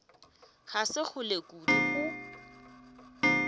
ga se kgole kudu go